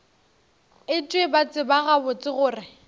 etšwe ba tseba gabotse gore